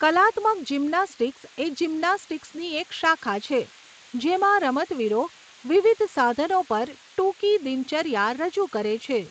કલાત્મક જિમ્નાસ્ટિક્સ એ જિમ્નાસ્ટિક્સની એક શાખા છે જેમાં રમતવીરો વિવિધ સાધનો પર ટૂંકી દિનચર્યા રજૂ કરે છે.